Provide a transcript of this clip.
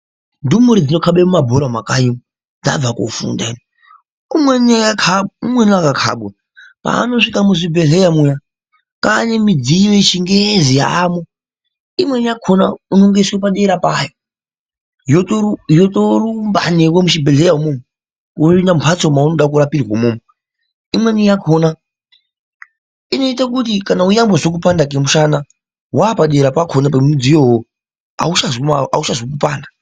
Ndumure dzinokabe mabhora mumakanyi dzabve kofunda ino. Umweni ukakabwa ,paanosvika muzvibhehleya muya ,kwanemudziyi yechingezi yaayo .Imweni yakona unongoiswe padera payo ,yotorumba newe muchibhehlera yopinda mumbatso yaunoda kurapirwa umwomwo. Imweni yakona inoite kuti nyangwe yeizwa kupanda kwemushana ,wapdera pemudziyo uwowo ,auchazwi kupanda.